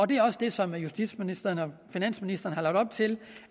det er også det som justitsministeren og finansministeren har lagt op til